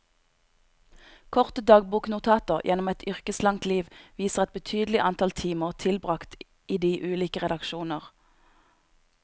Korte dagboknotater gjennom et yrkeslangt liv viser et betydelig antall timer tilbragt i de ulike redaksjoner.